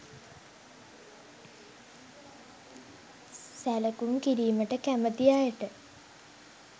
සැලකුම් කිරීමට කැමති අයට